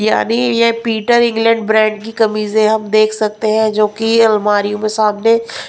यानी ये Peter England brand की कमीजें हम देख सकते हैंजो कि अलमारियों में सामने --